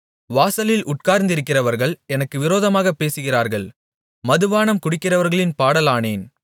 வாசலில் உட்கார்ந்திருக்கிறவர்கள் எனக்கு விரோதமாகப் பேசுகிறார்கள் மதுபானம் குடிக்கிறவர்களின் பாடலானேன்